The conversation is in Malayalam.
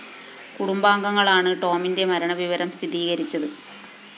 കുടുംബാംഗങ്ങളാണ് ടോമിന്റെ മരണവിവരം സ്ഥിരീകരിച്ചത്